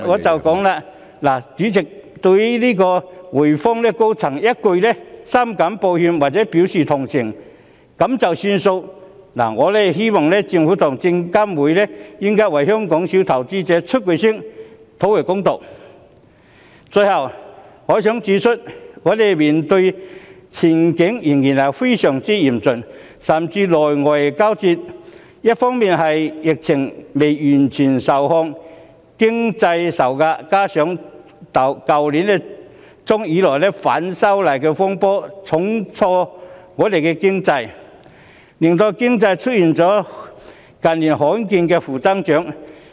主席，對於滙豐銀行高層一句"深感抱歉"或"表示同情"便作罷，我希望政府和證券及期貨事務監察委員會為香港小投資者發聲，討回公道。最後，我想指出，我們面對的前景仍然非常嚴峻，甚至內外交戰；一方面疫情未完全受控，經濟受壓，加上去年年中以來，反修例風波重挫香港，令經濟出現近年罕見的負增長。